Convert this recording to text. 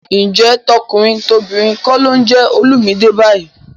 Ǹjẹ́ tọkùnrin tobìnrin kọ́ ló ń jẹ Olumide báyìí?